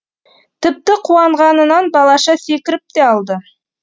тіпті қуанғанынан балаша секіріп те алды